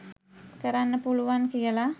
කරන්න පුළුවන් කියල